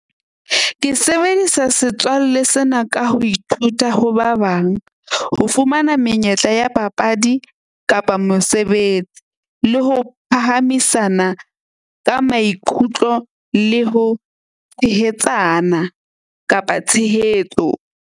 Ke sebedisa setswalle sena ka ho ithuta ho ba bang. Ho fumana menyetla ya papadi kapa mosebetsi, le ho phahamisana ka maikutlo le ho tshehetsana kapa tshehetso.